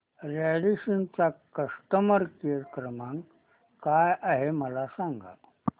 Radisson चा customer care क्रमांक काय आहे मला सांगा